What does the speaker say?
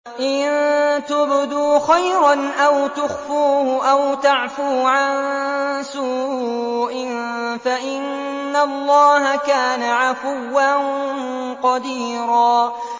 إِن تُبْدُوا خَيْرًا أَوْ تُخْفُوهُ أَوْ تَعْفُوا عَن سُوءٍ فَإِنَّ اللَّهَ كَانَ عَفُوًّا قَدِيرًا